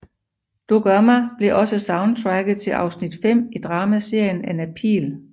Du Gør Mig blev også soundtracket til afsnit 5 i dramaserien Anna Pihl